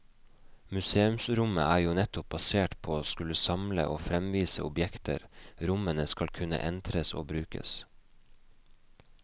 Museumsrommet er jo nettopp basert på å skulle samle og fremvise objekter, rommene skal kunne entres og brukes.